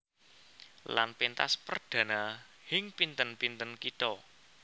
Lan péntas perdhana hing pinten pinten kitha